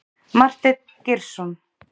Marteinn Geirsson.